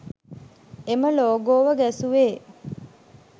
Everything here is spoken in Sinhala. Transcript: එම ලෝගෝව ගැසුවේ